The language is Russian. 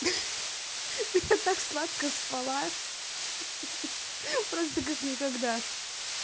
ха-ха да я так сладко спала ха-ха просто как никогда